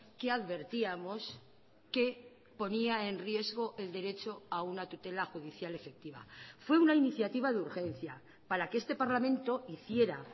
que advertíamos que ponía en riesgo el derecho a una tutela judicial efectiva fue una iniciativa de urgencia para que este parlamento hiciera